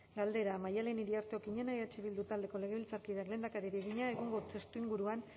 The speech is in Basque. galdera maddalen iriarte okiñena eh bildu taldeko legebiltzarkideak lehendakariari egina egungo testuinguruan